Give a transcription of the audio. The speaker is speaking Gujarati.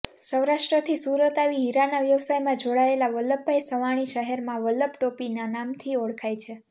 સૌરાષ્ટ્રથી સુરત આવી હીરાના વ્યવસાયમાં જોડાયેલા વલ્લભભાઈ સવાણી શહેરમાં વલ્લભ ટોપીના નામથી ઓળખાય છે